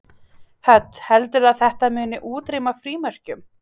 Hödd: Heldurðu að þetta muni útrýma frímerkjum?